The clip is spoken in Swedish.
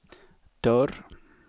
dörr